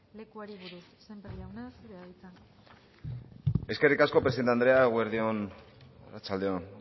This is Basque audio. lekuari buruz sémper jauna zurea da hitza eskerrik asko presidente andrea eguerdi on arratsalde on